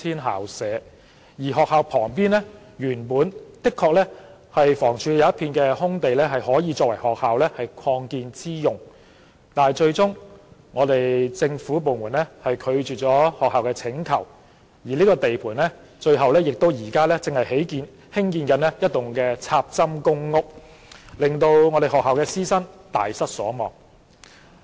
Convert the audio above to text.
學校旁原本的確有一幅屬房屋署的空地可供學校作擴建之用，但最終政府部門拒絕了學校的請求，而這幅空地現在成了地盤，正在興建一幢"插針"公屋，令該學校師生大失所望。